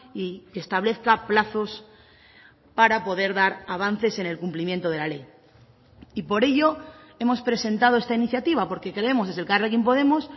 y que establezca plazos para poder dar avances en el cumplimiento de la ley y por ello hemos presentado esta iniciativa porque creemos desde elkarrekin podemos